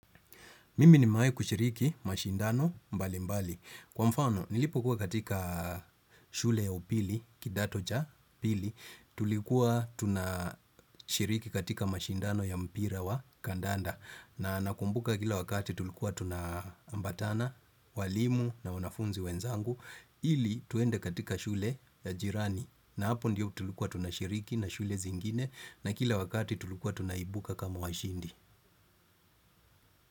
Mimi nimewahi kushiriki mashindano mbalimbali. Kwa mfano, nilipokuwa katika shule ya upili, kidato cha pili, tulikuwa tunashiriki katika mashindano ya mpira wa kandanda. Na nakumbuka kila wakati tulikuwa tunaambatana, walimu na wanafunzi wenzangu. Ili twende katika shule ya jirani na hapo ndiyo tulikuwa tunashiriki na shule zingine na kila wakati tulikuwa tunaibuka kama washindi.